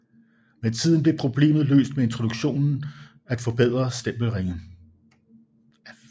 Med tiden blev problemet løst med introduktionen af forbedrede stempelringe